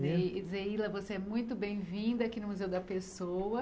Zeila, você é muito bem-vinda aqui no Museu da Pessoa.